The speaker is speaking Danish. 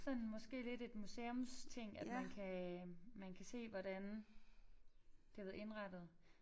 Sådan måske lidt et museumsting at man kan øh man kan se hvordan det har været indrettet